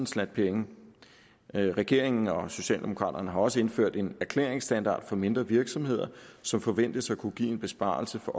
slat penge regeringen og socialdemokraterne har også indført en erklæringsstandard for mindre virksomheder som forventes at kunne give en besparelse for